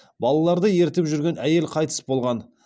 балаларды ертіп жүрген әйел қайтыс болған